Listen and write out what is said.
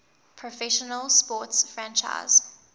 professional sports franchise